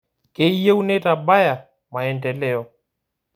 Keyieu neitabaya maendeleo